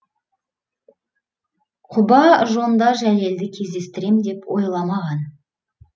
құба жонда жәлелді кездестірем деп ойламаған